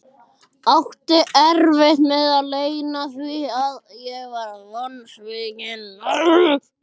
Átti erfitt með að leyna því að ég var vonsvikinn.